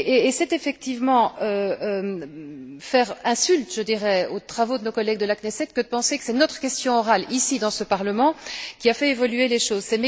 C'est effectivement faire insulte aux travaux de nos collègues de la Knesset que de penser que c'est notre question orale, ici, dans ce Parlement, qui a fait évoluer les choses.